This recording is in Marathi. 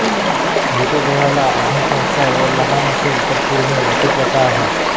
मृतदेहाला अग्निसंस्कार व लहान असेल तर पुरणे अशी प्रथा आहे